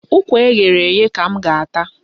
Ụkwa eghere eghe ka m ga-ata.